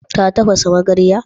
Ta tafasa magaryar?